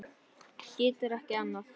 Getur ekki annað.